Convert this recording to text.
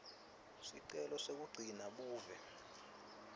sicelo sekugcina buve